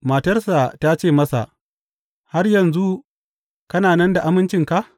Matarsa ta ce masa, Har yanzu kana nan da amincinka?